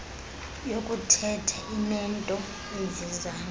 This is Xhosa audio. yokuthetha inento eyivezayo